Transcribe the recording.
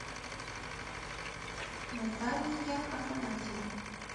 наталия афанасьева